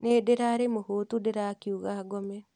Nii ndirarĩ mũhutu ndĩrakiuga ngome